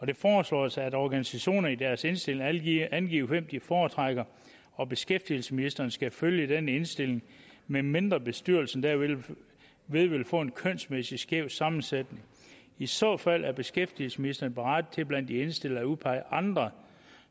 det foreslås at organisationer i deres indstilling angiver angiver hvem de foretrækker og beskæftigelsesministeren skal følge den indstilling medmindre bestyrelsen derved vil vil få en kønsmæssigt skæv sammensætning i så fald er beskæftigelsesministeren berettiget til blandt de indstillede at udpege andre